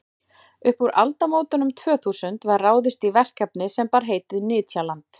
upp úr aldamótunum tvö þúsund var ráðist í verkefni sem bar heitið nytjaland